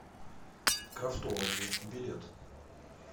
крафтолоджи билет